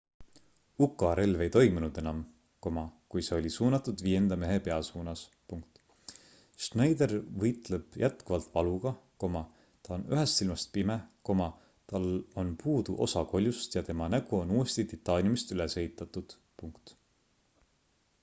uka relv ei toiminud enam kui see oli suunatud viienda mehe pea suunas schneider võitleb jätkuvalt valuga ta on ühest silmast pime tal on puudu osa koljust ja tema nägu on uuesti titaaniumist üles ehitatud